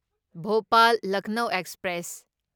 ꯚꯣꯄꯥꯜ ꯂꯈꯅꯧꯕ ꯑꯦꯛꯁꯄ꯭ꯔꯦꯁ